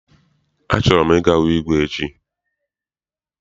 A chọrọ m I ga hụ igwe echi.